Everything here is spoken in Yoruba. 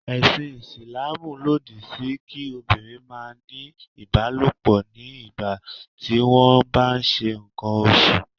Ẹ̀sìn Ìsìlámù lòdì sí kí obìnrin máa ní ìbálòpọ̀ ní ìgbà tí wón ń bá ṣe ǹkan oṣù.